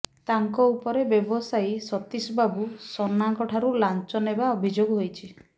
ତାଙ୍କ ଉପରେ ବ୍ୟବସାୟୀ ସତିଶ ବାବୁ ସନାଙ୍କ ଠାରୁ ଲାଂଚ ନେବା ଅଭିଯୋଗ ହୋଇଛି